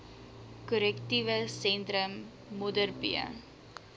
korrektiewe sentrum modderbee